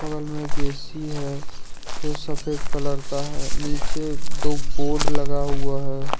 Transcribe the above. बगल में एक ए_सी है जो सफेद कलर का है नीचे दो बोर्ड लगा हुआ है।